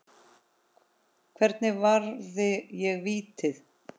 Hvernig varði ég vítið?